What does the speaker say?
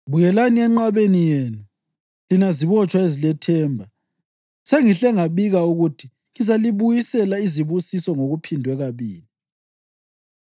Buyelani enqabeni yenu, lina zibotshwa ezilethemba; sengihle ngibika ukuthi ngizalibuyisela izibusiso ngokuphindwe kabili.